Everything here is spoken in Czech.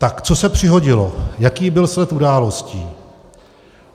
Tak co se přihodilo, jaký byl sled událostí?